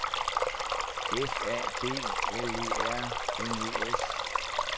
F A B L E R N E S